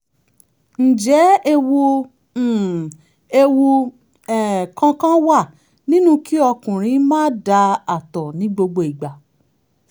ǹjẹ́ ewu um ewu um kankan wà nínú kí ọkùnrin máa dà (àtọ̀) ní gbogbo ìgbà